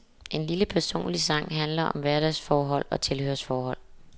En lille personlig sang handler om hverdagsforhold og tilhørsforhold.